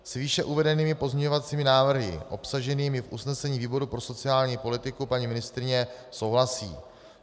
S výše uvedenými pozměňovacími návrhy obsaženými v usnesení výboru pro sociální politiku paní ministryně souhlasí.